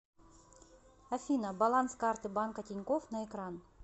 афина баланс карты банка тинькофф на экран